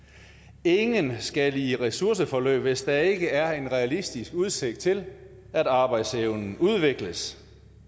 ingen skal i ressourceforløb hvis der ikke er en realistisk udsigt til at arbejdsevnen udvikles